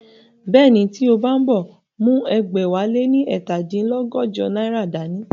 Bẹ́ẹ̀ni, tí o bá ń bọ̀, mú ẹgbẹ̀wáléní ẹ̀ta dín lọ́gọ́jọ náírà dá ní